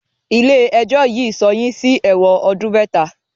Ilé ẹjọ́ yìí sọ yín sí ẹ̀wọ̀n ọdún mẹta!